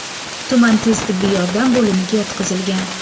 tuman tez tibbiy yordam bo‘limiga yotqizilgan.